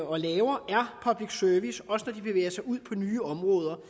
og laver er public service også når de bevæger sig ud på nye områder